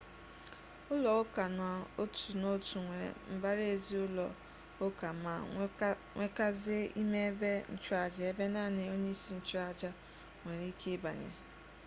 ulo-uka n'otu n'otu nwere mbara-ezi ulo-uka ma nwekazie ime ebe nchuaja ebe nani onye-isi nchu-aja nwere-ike ibanye